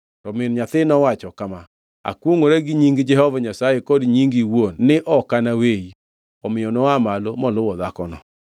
To min nyathi nowacho kama, “Akwongʼora gi nying Jehova Nyasaye kod nyingi iwuon ni ok anaweyi.” Omiyo noa malo moluwo dhakono.